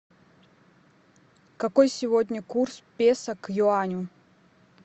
какой сегодня курс песо к юаню